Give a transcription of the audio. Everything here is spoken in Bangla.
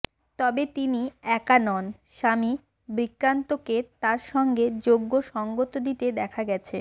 তবে তিনি একা নন স্বামী বিক্রান্তকে তার সঙ্গে যোগ্য সঙ্গত দিতে দেখা গেছে